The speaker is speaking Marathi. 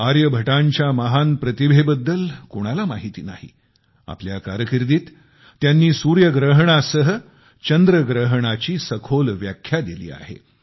आर्यभट्टांच्या महान प्रतिभेबद्दल कोणाला माहिती नाही आपल्या कारर्किदित त्यांनी सूर्यग्रहणासह चंद्रग्रहणाची सविस्तर व्याख्या दिली आहे